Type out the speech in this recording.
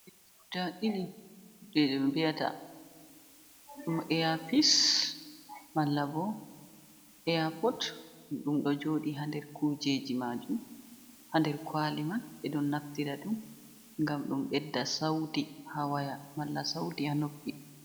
Guda ɗiɗi kujejiji ɗum vi'ata air pis malla bo air pod, ɗum ɗo joɗi ha nder kujeji majum, ha nder kwali mai ɓeɗo naftira ɗum ngam ɗum ɓedda sauti ha woya malla sauti ha noppi.